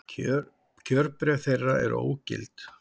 Kjörbréf þeirra eru ógild